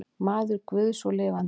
Maður guðs og lifandi.